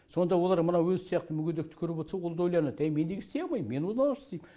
сонда олар мына өзі сияқты мүгедекті көріп отса ол да ойланады әй мен неге істей алмайм мен оны істейм